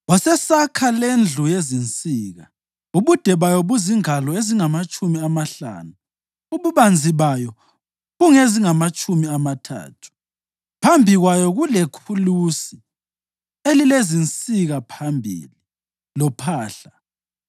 Wasesakha lendlu yezinsika, ubude bayo buzingalo ezingamatshumi amahlanu, ububanzi bayo bungezingamatshumi amathathu. Phambi kwayo kulekhulusi elilezinsika phambili, lophahla.